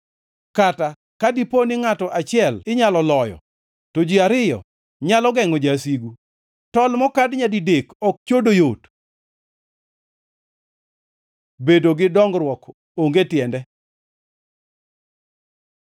Kata ka dipo ni ngʼato achiel inyalo loyo, to ji ariyo nyalo gengʼo jasigu. Tol mokad nyadidek ok chodo yot. Bedo gi dongruok onge tiende